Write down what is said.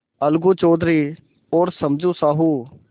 अलगू चौधरी और समझू साहु